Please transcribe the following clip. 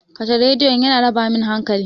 Kashe Rediyon! yana raba min hankali.